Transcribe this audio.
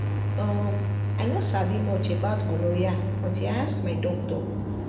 uhm i no sabi much about gonorrhea until i ask my doctor